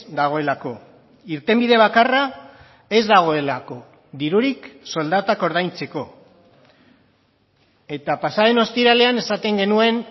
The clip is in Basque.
dagoelako irtenbide bakarra ez dagoelako dirurik soldatak ordaintzeko eta pasa den ostiralean esaten genuen